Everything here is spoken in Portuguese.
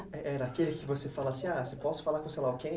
Era aquele que você falava assim, ah, você pode falar com sei lá quem?